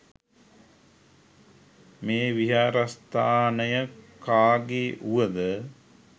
මේ විහාරස්ථානය කාගේ් වුවද